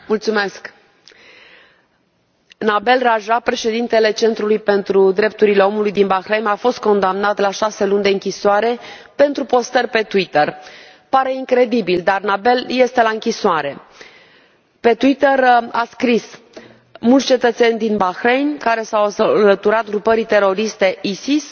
Domnule președinte, Nabeel Rajab, președintele Centrului pentru drepturile omului din Bahrain, a fost condamnat la șase luni de închisoare pentru postări pe Twitter. Pare incredibil. dar Nabeel este la închisoare! Pe Twitter a scris mulți cetățeni din Bahrain care s au alăturat grupării teroriste Isis